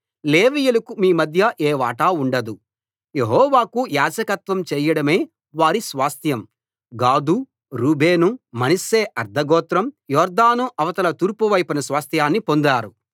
లేవీయులకు మీ మధ్య ఏ వాటా ఉండదు యెహోవాకు యాజకత్వం చేయడమే వారి స్వాస్థ్యం గాదు రూబేను మనష్షే అర్థగోత్రం యొర్దాను అవతల తూర్పువైపున స్వాస్థ్యాన్ని పొందారు